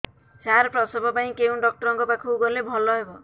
ସାର ପ୍ରସବ ପାଇଁ କେଉଁ ଡକ୍ଟର ଙ୍କ ପାଖକୁ ଗଲେ ଭଲ ହେବ